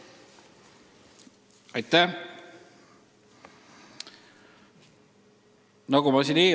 Aitäh!